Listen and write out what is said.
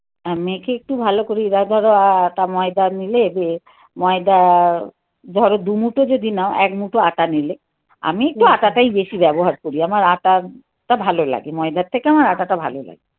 আর মেখে একটু ভালো করে উম ধরো আটা, ময়দা নিলে ময়দা. ধরো দুমুঠো যদি নাও এক মুঠো আটা নিলে. আমি একটু আটা টাই বেশি ব্যবহার করি. আমার আটা ভালো লাগে. ময়দার থেকে আমার আটাটা ভালো লাগে